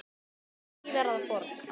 og síðar að borg.